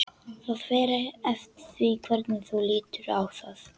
Það fer eftir því hvernig þú lítur á það.